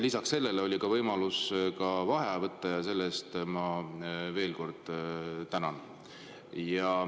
Lisaks sellele oli ka võimalus vaheaega võtta, mille eest ma veel kord tänan.